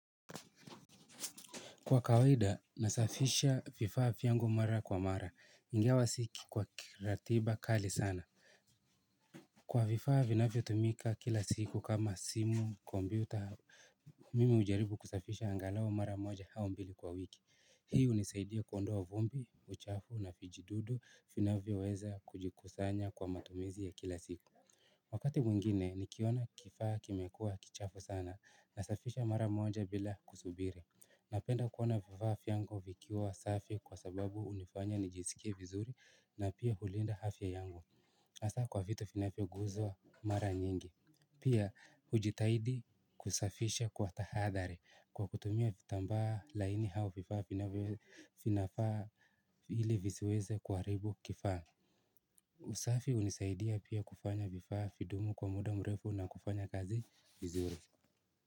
Kwa kawaida, nasafisha vifaa vyangu mara kwa mara, ingawa siki kwa kiratiba kali sana. Kwa vifaa vinavyotumika kila siku kama simu kompyuta mimi hujaribu kusafisha angalau mara moja au mbili kwa wiki hii unisaidia kuondoa vumbi, uchafu na vijidudu, vinavyo weza kujikusanya kwa matumizi ya kila siku. Wakatiwengine, nikiona kifaa kimekua kichafu sana, nasafisha mara moja bila kusubiri napenda kuona vifaa vyangu vikiwa safi kwa sababu hunifanya nijisikie vizuri na pia kulinda afya yangu hasa kwa vitu vinavyo guswa mara nyingi pia hujitahidi kusafisha kwa tahadhari kwa kutumia vitambaa laini au vifaa vinafaa ili visiweze kuharibu kifaa usafi hunisaidia pia kufanya vifaa vidumu kwa muda mrefu na kufanya kazi vizuri.